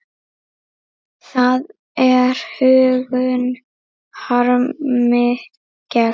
Það er huggun harmi gegn.